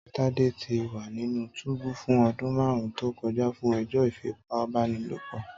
Tade ti wa ninu túbú fun ọdun marun to kọja fun ẹjọ ifipabanilopo.